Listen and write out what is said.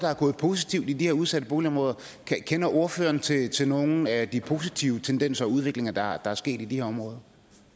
positivt i de her udsatte boligområder kender ordføreren til til nogen af de positive tendenser og udviklinger der er sket i de her områder